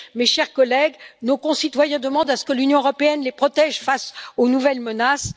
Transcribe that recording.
Mes chers collègues, nos concitoyens demandent à ce que l'Union européenne les protège face aux nouvelles menaces.